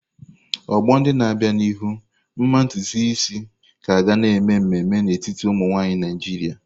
Ọgbọ ndị na-abịa n'ihu, mma ntutu isi ka ga-eme ememe n'etiti ụmụ nwanyị Naijiria.